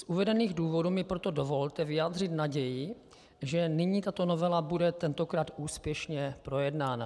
Z uvedených důvodů mi proto dovolte vyjádřit naději, že nyní tato novela bude tentokrát úspěšně projednána.